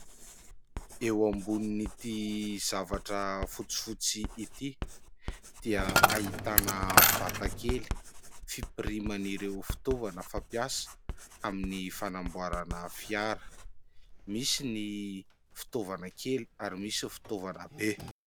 Eo ambonin' ity zavatra fotsifotsy ity dia ahitana vata kely fampiriman' ireo fitaovana fampiasa amin'ny fanamboarana fiara misy ny fitaovana kely ary misy fitaovana be.